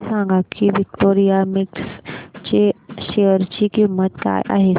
हे सांगा की विक्टोरिया मिल्स च्या शेअर ची किंमत काय आहे